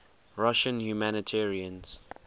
russian humanitarians